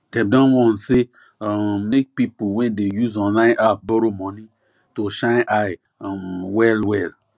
dem don warn sey um make people wey dey use online app borrow money to shine eye um wellwell